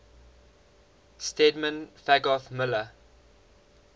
stedman fagoth muller